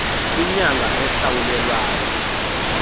inyanga ehlawulelwa yona